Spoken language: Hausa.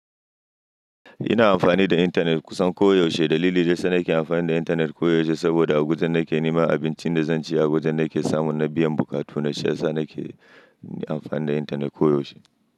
Ina amfani da intanet kusan koyaushe. Dalili da yasa nake amfani da intanet koyaushe saboda a awajan nake nema abincin da zan ci, a awajan nake samu na biyan buƙatu na, shi yasa nake amfani da intanet koyaushe.